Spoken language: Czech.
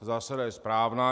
Ta zásada je správná.